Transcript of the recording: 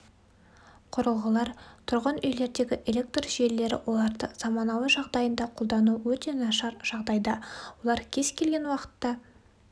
құрылғылар тұрғын үйлердегі электр желілері оларды заманауи жағдайында қолдану өте нашар жағдайда олар кез-келген уақытта